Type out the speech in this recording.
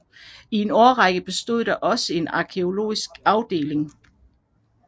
I en årrække bestod der også en gærgenetisk afdeling